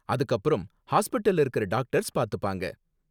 அதுக்கப்புறம் ஹாஸ்பிடல்ல இருக்கற டாக்டர்ஸ் பாத்துப்பாங்க.